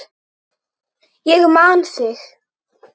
Ég man þig.